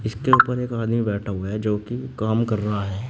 के ऊपर एक आदमी बैठा हुआ है जो कि काम कर रहा है।